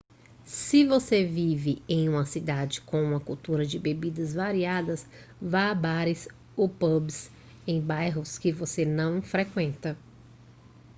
se você vive em uma cidade com uma cultura de bebidas variadas vá a bares ou pubs em bairros que você não frequenta